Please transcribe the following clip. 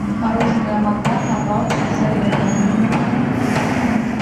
мороженое магнат на палочке с орехами